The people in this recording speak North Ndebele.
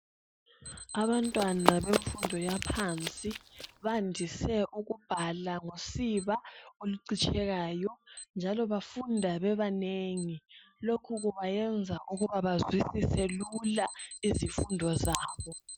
Abantwana bemfundo yaphansi bandise ukubhala ngosiba olucitshekayo njalo bafunda bebanengi lokhu kubayenza ukuba bazwisise lula izifundo zabo.